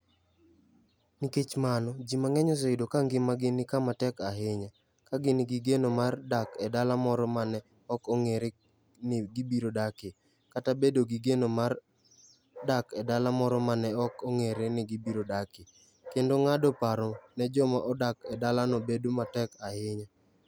Nikech mano, ji mang'eny oseyudo ka ngimagi ni kama tek ahinya, ka gin gi geno mar dak e dala moro ma ne ok ong'ere ni gibiro dakie, kata bedo gi geno mar dak e dala moro ma ne ok ong'ere ni gibiro dakie, kendo ng'ado paro ne joma odak e dalano bedo matek ahinya.